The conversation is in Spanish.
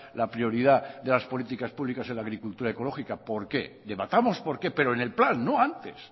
la prioridad de las políticas públicas en la agricultura ecológica por qué debatamos por qué pero en el plan no antes